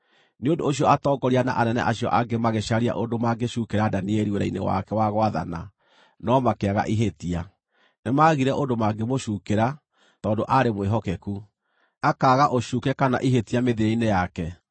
Nĩ ũndũ ũcio atongoria na anene acio angĩ magĩcaria ũndũ mangĩcuukĩra Danieli wĩra-inĩ wake wa gwathana, no makĩaga ihĩtia. Nĩmagire ũndũ mangĩmũcuukĩra, tondũ aarĩ mwĩhokeku, akaaga ũcuuke kana ihĩtia mĩthiĩre-inĩ yake.